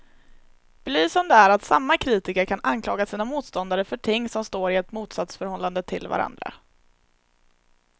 Belysande är att samma kritiker kan anklaga sina motståndare för ting som står i ett motsatsförhållande till varandra.